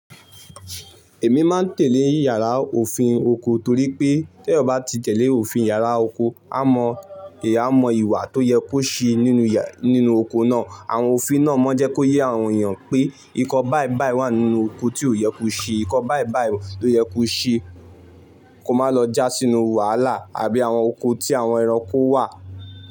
Èmi máa ń tẹ̀lé yàrá òfin oko torí pé tí ẹ bá ti tẹ̀lé òfin yàrá oko, a mọ ìhà, a mọ ìwà tó yẹ kó ṣe nínú, nínú oko náà. Àwọn òfin náà mọ jẹ́ kó yé àwọn èèyàn pé nǹkan báìbàì wà nínú oko tí ò yẹ kó ṣe. Ǹkan báìbàì ló yẹ kó ṣe kó máa lọ já sínú wàhálà àbí àwọn oko tí àwọn ẹranko wà.